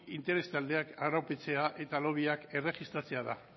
interes taldeak arautzea eta lobbyak erregistratzea da